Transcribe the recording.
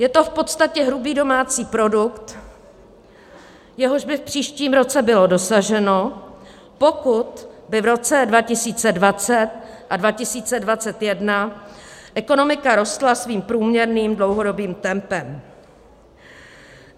Je to v podstatě hrubý domácí produkt, jehož by v příštím roce bylo dosaženo, pokud by v roce 2020 a 2021 ekonomika rostla svým průměrným dlouhodobým tempem.